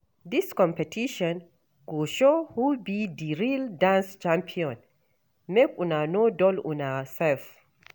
Dis competition go show who be di real dance champion, make una no dull una sef.